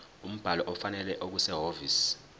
umbhalo ofanele okusehhovisi